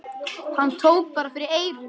Hann tók bara fyrir eyrun!